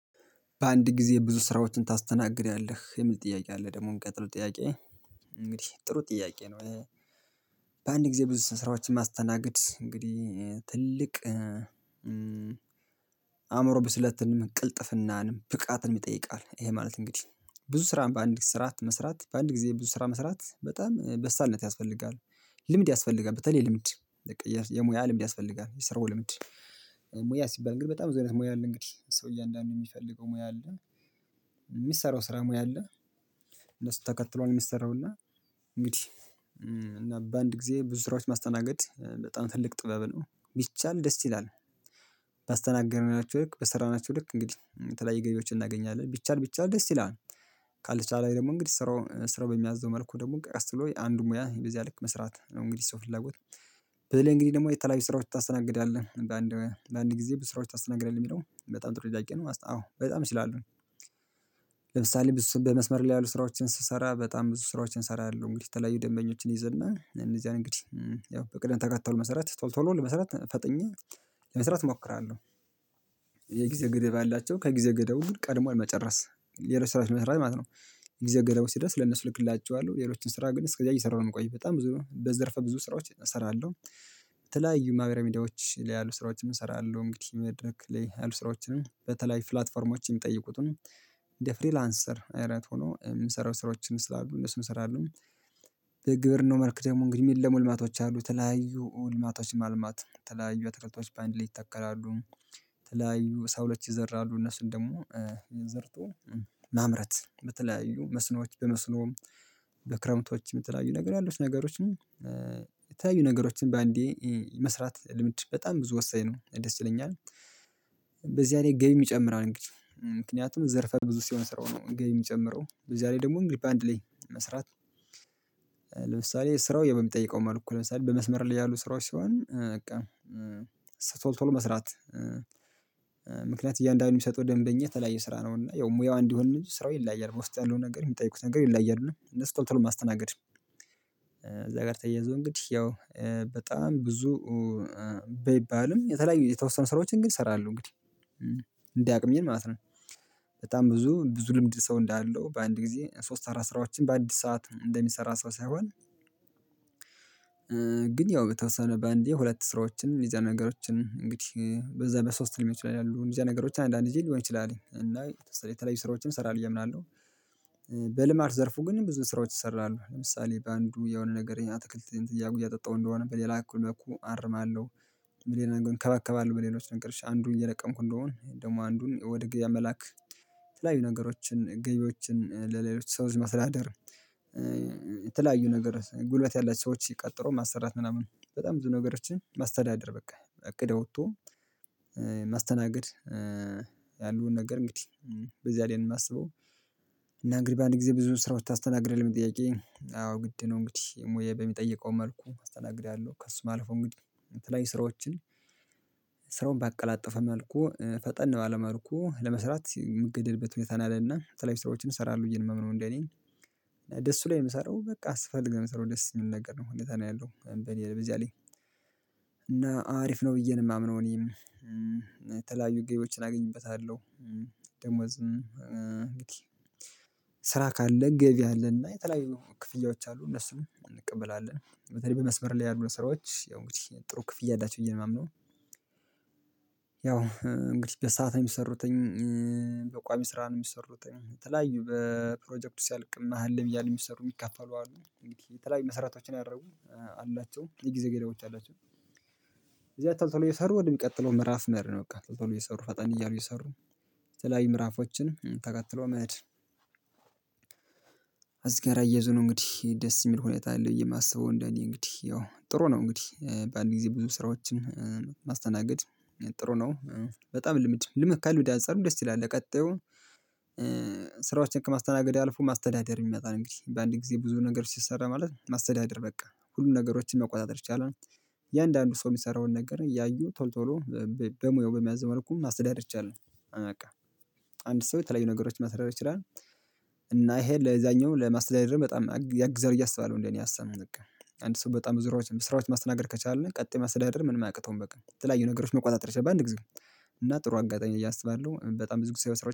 በአንድ ጊዜ ብዙ ስራዎችን ታስተናግዳለህ የሚል ጥያቄ አለ ደግሞ እሚቀጥል ጥያቄ እንግዲህ ጥሩ ጥያቄ ነው። በአንድ ጊዜ ብዙ ስራዎችን ማስተናገድ እንግዲህ ትልቅ ብስለትን ቅልጥፍናንን ብቃትን ይጠይቃል። ይሄ ማለት እንግዲህ ብዙ ስራን በአንድ ስራ መስራት በአንድ ጊዜ ብዙ ስራ መስራት በጣም በሳልነት ያስፈልጋል። ልምድ ያስፈልጋል በተለይ ልምድ የሙያ ልምድ ያስፈልጋል የስራው ልምድ። ሙያ ሲባል እንግዲህ በጣም ብዙ አይነት ሙያ አለ እንግዲህ ሰው እያንዳንዱ የሚፈልገው ሙያ አለ። የሚሰራው ስራ ሙያ አለ። እነሱ ተከትሎ ነው የሚሰራው። እና እንግዲህ በአንድ ጊዜ ብዙ ስራዎች ማስተናገድ በጣም ትልቅ ጥበብ ነው ቢቻል ደስ ይላል። ባስተናገረናቸው ልክ በሰራናቸው ልክ እንግዲህ የተለያየ ገበያዎችን እናገኛለን ቢቻል ቢቻል ደስ ይላል። ካልተቻለ ደግሞ እንግዲህ ስራ ስራው በሚያዘው መልኩ ደግሞ ቀስ ብሎ አንዱን ሙያ በዚያ ልክ መስራት ነው። እንግዲህ ሰው ፍላጎት በልህ እንግዲህ ደግሞ የተለያዩ ስራዎች ታስተናግዳለህ አንዳንድ ለአንድ ጊዜ ብስራዎች ታስተናግደል የሚለው በጣም ጥሩ ጥያቄ ነው አዎ በጣም እችላለሁ። ለምሳሌ ብዙ በመስመር ላይ ያሉ ስራዎችን ሲሰራ በጣም ብዙ ስራዎችን እሰራለሁ እንግዲህ የተለያዩ ደንበኞችን ይዝና እነዚያን እንግዲህ ያው በቅድም ተከተሉ መሰረት ቶሎ ቶሎ ለመስራት ፈጥኜ ለመሰረት እሞክራለሁ። የጊዜ ገደብ ያላቸው ከጊዜ ገደቡ ቀድሞ የመጨረስ ሌሎች ስራዎችን ይሰራል ማለት ነው። ግዜ ገደቡ ሲደርስ ለነሱ ልክላችዋለሁ ሌሎችን ስራ ግን እስከዚያ እየሰራሁ ነው የምቆየው በጣም ብዙ ነው በዘርፈ ብዙ ስራዎች እሰራለሁ። ተለያዩ ማህበራዊ ሚድያዎች ላይ ያሉ ስራዎችን እሰራለሁ። እንግዲህ መድረክ ላይ ያሉ ስራዎችንም በተለይ ፕላትፎርሞችን የሚጠይቁትን እንደ ፍሪላንሰር አይነት ሆኖ የምንሰራው ስራዎችን ስላሉ እነሱን እሰራለሁ። የግብርናው መልክ ደግሞ እንግዲህ የሚለመልሙ ልማቶች አሉ የተለያዩ ሙልማቶች ማልማት ተለያዩ አትክልቶች በአንድ ላይ ይተከላሉ። ተለያዩ ሰው ለች ይዘራሉ እነሱን ደግሞ የዘርቶ ማምረት በተለያዩ መስኖች በመስኖም በክረምቶችም የተለያዩ ነገር ያሉት ነገሮችን የተለያዩ ነገሮችን በአንዴ መስራት ልምድ በጣም ብዙ ወሳኝ ነው ደስ ይለኛል። በዚህ አይነት ገቢ ይጨምራል እንግዲህ ምክንያቱም ዘርፈ ብዙ ሲሆን ስራው ነው ገቢ የሚጨምረው በዚያ ላይ ደግሞ እንግዲህ ባንድ ላይ መስራት። ለምሳሌ ስራው በሚጠይቀው መልኩ ነው ለምሳሌ በመስመር ላይ ያሉ ስራዎች ሲሆን በቃ ቶል ቶሎ መስራት እያንዳንዱን የሚሰጠው ደንበኛ ተለያየ ስራ ነው እና ያው ሙያው እንዲሆን ምንጭ ስራው ይለያያል ውስጥ ያለው ነገር የሚጠይቁት ነገር ይለያያል ነው እነሱ ቶሎ ቶሎ ማስተናገድ። እዛ ጋር ተያይዞ እንግዲህ ያው በጣም ብዙ በይባልም የተለያዩ የተወሰኑ ስራዎችን ግን እሰራለሁ። እንግዲህ እንደ አቅሜን ማለት ነው። በጣም ብዙ ብዙ ልምድ ሰው እንዳለው በአንድ ጊዜ ሶስት አራት ስራዎችን በአዲስ ሰዓት እንደሚሰራ ሰው ሳይሆን። ግን ያው በተወሰነ በአንዴ ሁለት ስራዎችን እንደዚያ አይነት ነገሮችን እንግዲህ በዛ በሶስት ሊሆን ይችላል ያሉ እንደዚ አይነት ነገሮች አንዳንድ ጊዜ ሊሆን ይችላልኝ እና የተወሰነ የተለያዩ ስራዎችን እሰራለሁ ብየ እምናለሁ። በልማት ዘርፉ ግን ብዙ ስራዎች ይሰራሉ ለምሳሌ በአንዱ የሆነ ነገር አትክልት እያጠጣሁ እንደሆነ በሌላ በኩል አርማለሁ። በሌላ እንከባከባለሁ በሌሎች ነገሮች አንዱን እየለቀምኩ እንደሆን ደግሞ አንዱን ወደ ገበያ መላክ ተለያዩ ነገሮችን ገቢዎችን ለሌሎች ሰወች ማስተዳደር። ነገሮች ጉልበት ያላቸው ሰዎች ቀጥሮ ማሰራት ምናምን በጣም ብዙ ነገሮችን ማስተዳደር በቃ እቅድ አውጥቶ ማስተናገድ። ያለውን ነገር እንግዲህ በዚያ ላይ የማስበው እና እንግዲህ በአንድ ጊዜ ብዙ ስራዎች ታስተናግዳለህ ለለሚለው ጥያቄ አዎ ግድ ነው። እንግዲህ ሙያየ በሚጠይቀው መልኩ አስተናግዳለሁ ከእሱም አልፉ እንግዲህ የተለያዩ ስራዎችን። ስራውን ባቀላጠፈ መልኩ ፈጠን ባለ መልኩ ለመስራት የምገደድበት ሁኔታ አለና የተለያዩ ሰዎችን እሰራለሁ ብየ ነው የማምነው። እንዴ እኔ እሱ ላይ የምሰራው በቃ ስፈልግ ነው የምሰራው ደስ የሚል ነገር ነው ሁኔታ ነው ያለው በኔ ደረጃ ላይ። እና አሪፍ ነው ብዬ ነው የማምነው። እኔም የተለያዩ ገቢዎችን አግኝበታለሁ። ደሞዝም ስራ ካለ ገቢ አለና እና የተለያዩ ክፍያዎች አሉ እነሱን እንቀበላለን በተለይ በመስበር ላይ ያሉ ስራዎች ያው እንግዲህ ጥሩ ክፍያ አላቸው ብየ ነው የማምነው። ያው እንግዲህ በሰአት የሚሰሩትኝ በቋሚ ስራ ነው የሚሰሩት የተለያዩ በፕሮጀክቱ ሲያልቅም መሃል ላይ እያለ የሚሰሩ የሚከፈሉ አሉ እንግዲህ የተለያዩ መሰረቶችን ያደረጉ አላቸው የጊዜ ገደቦች አላቸው። እዚያ ቶሎ ቶሎ እየሰሩ ወደሚቀጥለው ምዕራፍ መሄድ ነው በቃ ቶሎ እየሰሩ ፈጠን እያሉ እየሰሩ የተለያይ ምዕራፎችን ተከትሎ መሄድ። እዚ ጋር አያይዞ ነው እንግዲህ ደስ የሚል ሁኔታ አለ ብዬ የማስበው እንደኔ እንግዲህ ያው ጥሩ ነው እንግዲህ በአንድ ጊዜ ብዙ ስራዎችን ማስተናገድ ጥሩ ነው። በጣም ልምድ ከልምድ አንፃርም ደስ ይላል ለቀጣዩ ስራዎችን ከማስተናገድ አልፎ ማስተዳደር ይመጣል እንግዲህ በአንድ ጊዜ ብዙ ነገሮች ሲሰራ ማለት ማስተዳደር በቃ ሁሉም ነገሮችን መቆጣጠር ይቻላል። እያንዳንዱ ሰው የሚሰራውን ነገር እያዩ ቶልቶሎ በሙያው በሚያዘው መልኩ ማስተዳደር ይቻላል። በቃ አንድ ሰው የተለያዩ ነገሮችን ማስተዳደር ይችላል። እና ይሄ ለዛኛው ለማስተዳደርም በጣም ያግዛል ብየ አሰባለሁ እንደኔ አሳብ። አንድ ሰው በጣም ብዙ ስራዎች ስራዎች ማስተናገድ ከቻልን ቀጣይ ማስተዳደር ምንም አያቅተውም በቃ የተለያዩ ነገሮች መቆጣጠር ይችላል በአንድ ጊዜ። እና ጥሩ አጋጣሚ ነው ብየ አስባለሁ በጣም ብዙ ጊዜ ሰራወች